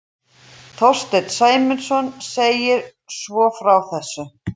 Þorsteinn Sæmundsson segir svo frá þessu: